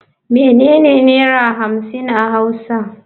Menene naira hamsin a hauwa?